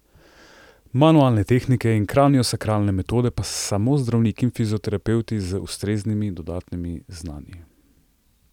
Manualne tehnike in kraniosakralne metode pa samo zdravniki in fizioterapevti z ustreznimi dodatnimi znanji.